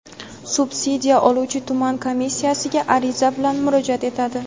subsidiya oluvchi tuman komissiyasiga ariza bilan murojaat etadi.